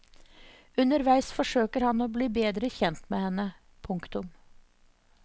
Underveis forsøker han å bli bedre kjent med henne. punktum